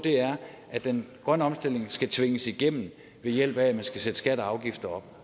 at den grønne omstilling skal tvinges igennem ved hjælp af at man skal sætte skatter og afgifter op